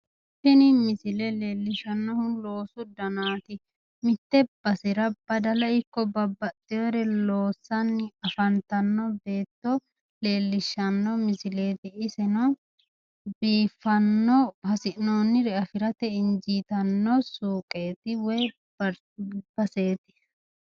Tini misile leellishshannohu loosu danaati mitte basera badala ikko babbaxxewore loossanni afantanno beetto leellishshanno misileeti. Iseno biiffanno hasi'noonnire afirate injitanno suqeeti woyi baseeti.